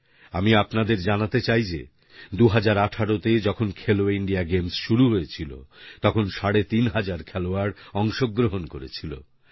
আমি আপনাদের জানাতে চাই যে 2018 তে যখন খেলো ইন্ডিয়া গেমস শুরু হয়েছিল তখন সাড়ে তিন হাজার খেলোয়াড় অংশগ্রহণ করেছিলেন